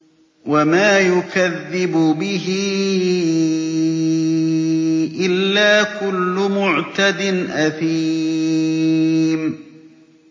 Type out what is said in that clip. وَمَا يُكَذِّبُ بِهِ إِلَّا كُلُّ مُعْتَدٍ أَثِيمٍ